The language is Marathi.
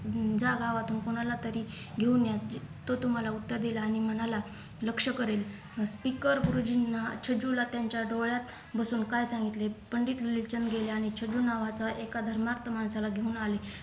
अं जा गावातून कोणालातरी घेऊन या तो तुम्हाला उत्तर देईल आणि मनाला लक्ष करेल तिकर गुरुजींना छेजूला त्यांच्या डोळ्यात बसून काय सांगितलं पंडित विवेकचंद गेल्याने छेजू नावाचा एका धर्माक्त माणसाला घेऊन आले